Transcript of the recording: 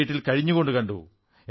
ഈ വീട്ടിൽ കഴിഞ്ഞുകൊണ്ടു കണ്ടു